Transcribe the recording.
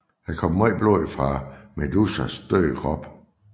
Der kom en masse blod fra Medusas døde krop